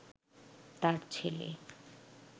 তাঁর ছেলে